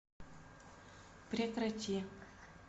прекрати